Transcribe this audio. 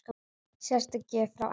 Sérstök gjöf frá Ebba.